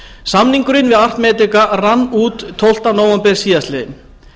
samningurinn við að medica rann út tólfti nóvember síðastliðinn